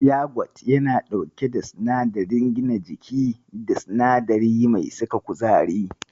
Yagwat yana ɗauke da sinadarin gina jiki da sinadari mai saka kuzari.